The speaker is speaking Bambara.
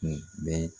Kun bɛɛ